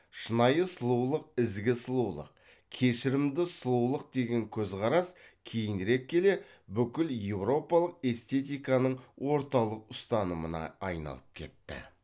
шынайы сұлулық ізгі сұлулық кешірімді сұлулық деген көзқарас кейінірек келе бүкіл еуропалық эстетиканың орталық ұстанымына айналып кетті